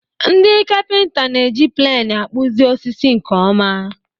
Ndị kapịnta na-eji pleni akpụzi osisi nke ọma.